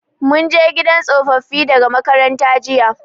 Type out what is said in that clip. Mun je gidan tsofaffi daga makaranta jiya.